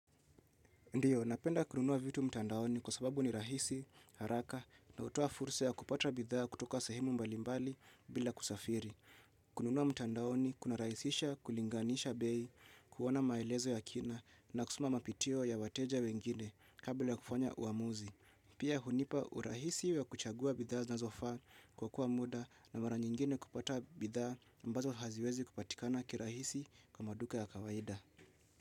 Ndiyo, napenda kununua vitu mtandaoni kwa sababu ni rahisi, haraka na hutoa fursa ya kupata bidhaa kutoka sehemu mbalimbali bila kusafiri. Kununua mtandaoni, kuna rahisisha, kulinganisha bei, kuona maelezo ya kina na kusoma mapitio ya wateja wengine kabla kufanya uamuzi. Pia hunipa urahisi ya kuchagua bidhaa zinazofa kuokowa muda na mara nyingine kupata bidhaa ambazo haziwezi kupatikana kirahisi kwa maduka ya kawaida.